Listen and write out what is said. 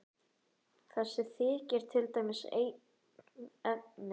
Þessi þykir til dæmis einn efni.